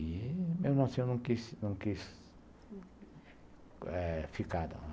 E, mesmo assim, eu não quis não quis, uhum, ficar não.